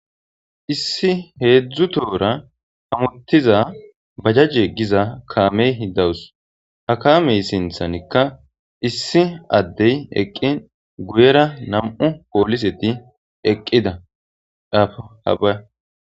issi heedzdzu tohora hamuttiza bajajje giza kaameyhi dawus ha kaamey sinthanikka issi addey eqqi guyera nam7u pooliseti eqqida afhabaa